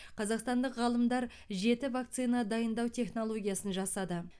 қазақстандық ғалымдар жеті вакцина дайындау технологиясын жасады